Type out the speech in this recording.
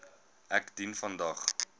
ek dien vandag